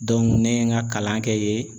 ne ye n ka kalan kɛ yen